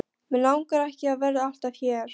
Mig langar ekki að vera alltaf hér.